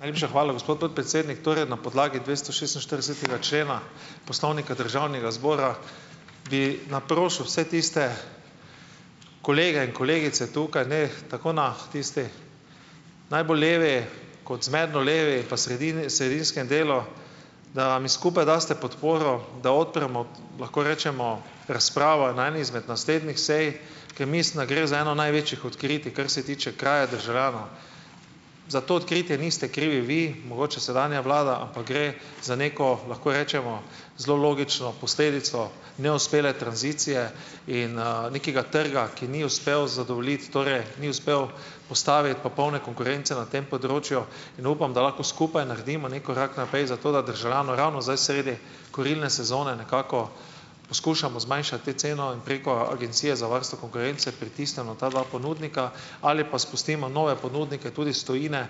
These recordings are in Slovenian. Najlepša hvala, gospod podpredsednik. Torej na podlagi dvestošestinštiridesetega člena Poslovnika Državnega zbora bi naprosil vse tiste kolege in kolegice tukaj, ne, tako na tisti najbolj levi kot zmerno levi pa sredinskem delu, da mi skupaj daste podporo, da odpremo, lahko rečemo, razpravo na eni izmed naslednjih sej, ker mislim, da gre za eno največjih odkritij kar se tiče kraje državljanov. Za to odkritje niste krivi vi, mogoče sedanja vlada, ampak gre za neko, lahko rečemo, zelo logično posledico neuspele tranzicije in, nekega trga, ki ni uspel zadovoljiti, torej ni uspel postaviti popolne konkurence na tem področju, in upam, da lahko skupaj naredimo neki korak naprej zato, da državljanu ravno zdaj sredi kurilne sezone nekako poskušamo zmanjšati ceno in preko Agencije za varstvo konkurence pritisnemo ta dva ponudnika ali pa spustimo nove ponudnike tudi iz tujine,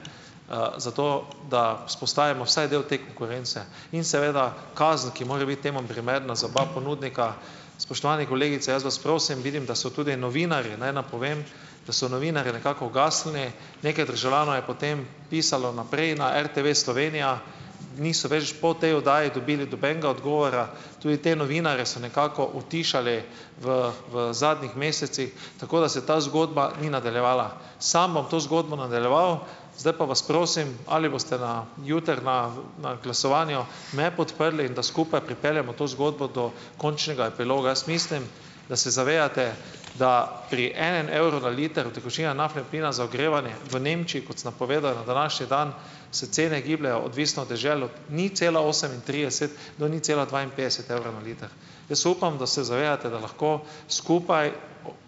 zato da vzpostavimo vsaj del te konkurence, in seveda, kazen, ki mora biti temu primerna za oba ponudnika. Spoštovane kolegice, jaz vas prosim, vidim, da so tudi novinarji, naj napovem, da so novinarji nekako ugasnili, nekaj državljanov je potem pisalo naprej na RTV Slovenija, niso več po tej oddaji dobili nobenega odgovora, tudi te novinarje so nekako utišali v v zadnjih mesecih, tako da se ta zgodba ni nadaljevala. Sam bom to zgodbo nadaljeval, zdaj pa vas prosim, ali boste na jutri na na glasovanju me podprli, in da skupaj pripeljemo to zgodbo do končnega epiloga. Jaz mislim, da se zavedate, da pri enem evru na liter utekočinjenega naftnega plina za ogrevanje v Nemčiji, kot sem napovedal na današnji dan, se cene gibljejo, odvisno od dežel, od nič cela osemintrideset do nič cela dvainpetdeset evrov na liter. Jaz upam, da se zavedate, da lahko skupaj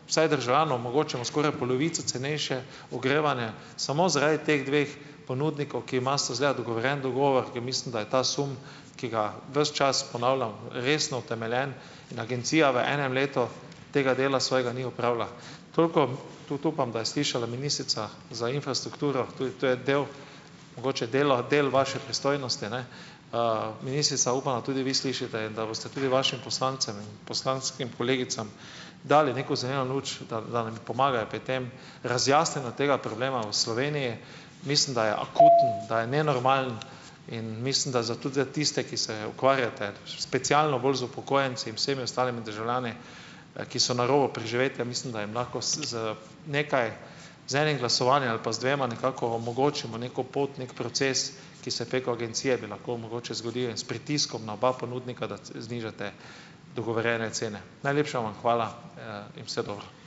vsaj državljanom omogočimo skoraj polovico cenejše ogrevanje samo zaradi teh dveh ponudnikov, ki imata izgleda dogovorjen dogovor, in mislim, da je ta sum, ki ga ves čas ponavljam, resno utemeljen in agencija v enem letu tega dela svojega ni opravlja. Toliko. Tudi upam, da je slišala ministrica za infrastrukturo. Tudi to je del, mogoče delo del vaše pristojnosti, ne. Ministrica, upam, da tudi vi slišite in da boste tudi vašim poslancem in poslanskim kolegicam dali neko zeleno luč, da da nam pomagajo pri tem, razjasnjenju tega problema v Sloveniji, mislim, da je akuten , da je nenormalen, in mislim, da za tudi za tiste, ki se ukvarjate specialno bolj z upokojenci in vsemi ostalimi državljani, ki so na robu preživetja, mislim, da jim lahko z z nekaj z enim glasovanjem ali pa z dvema nekako omogočimo neko pot, neki proces, ki se preko agencije bi lahko mogoče zgodili in s pritiskom na oba ponudnika, da znižate dogovorjene cene. Najlepša vam hvala, in vse dobro.